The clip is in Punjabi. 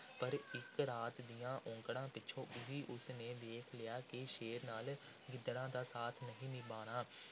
ਪਰ ਇੱਕ ਰਾਤ ਦੀਆਂ ਔਂਕੜਾਂ ਪਿੱਛੋਂ ਹੀ ਉਸ ਨੇ ਵੇਖ ਲਿਆ ਕਿ ਸ਼ੇਰ ਨਾਲ ਗਿੱਦੜਾਂ ਦਾ ਸਾਥ ਨਹੀਂ ਨਿਭਣਾ,